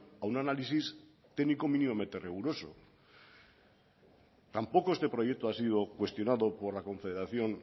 a un análisis técnico mínimamente riguroso tampoco este proyecto ha sido cuestionado por la confederación